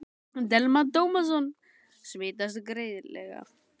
Telma Tómasson: Smitast greiðlega?